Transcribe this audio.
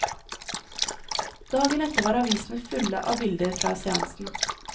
Dagen etter var avisene fulle av bilder fra seansen.